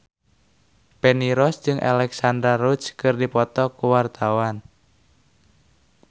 Feni Rose jeung Alexandra Roach keur dipoto ku wartawan